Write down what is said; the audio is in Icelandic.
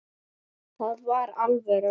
Það var alvöru.